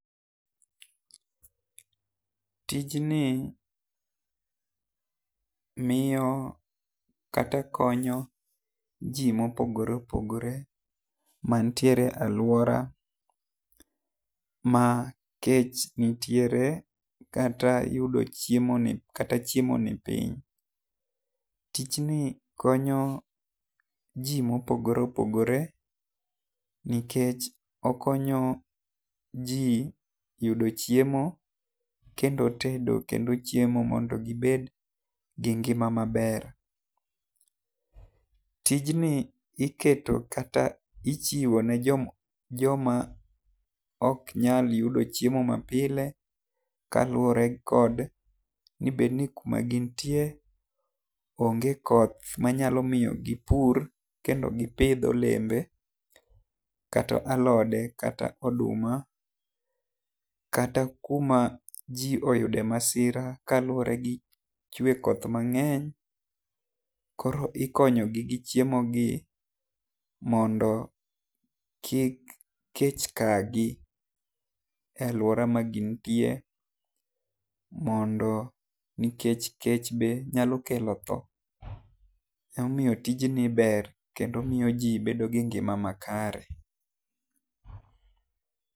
Tijni miyo kata konyo ji ma opogore opogore ma nitiere aluora ma kech nitiere kata yudo chiemo ni kata chiemo ni piny. Tijni konyo ji ma opogore opogore nikech okonyo ji yudo chiemo kendo tedo kendo chiemo mondo gi bed gi ngima ma ber. Tijni iketo kata ichiwo ne jo ma ok nyal yudo chiemo ma pile kaluore kod ni bed ni ku ma gin tie onge koth ma nyalo miyo gi pur kendo gi pidh olembe. Kata alode kata oduma kata kuma ji oyude masira kaluore gi chwe koth mang'eny koro ikonyo gi gi chiemo ni mondo kik kech ka gi e aluora ma gin tie mondo nikech kech be nyalo kelo thoo. Ema omiyo tij ni ber kendo omiyo ji bedo gi ngima makare.